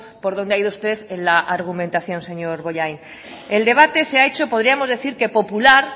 por donde ha ido usted en la argumentación señor bollain el debate se ha hecho podríamos decir que popular